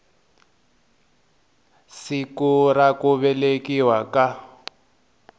siku ra ku velekiwa ka